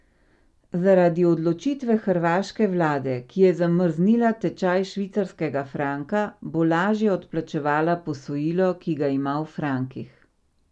Zaradi odločitve hrvaške vlade, ki je zamrznila tečaj švicarskega franka, bo lažje odplačevala posojilo, ki ga ima v frankih.